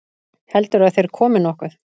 Heldurðu að þeir komi nokkuð?